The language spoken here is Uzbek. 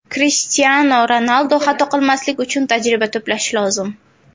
Krishtianu Ronaldu Xato qilmaslik uchun tajriba to‘plash lozim.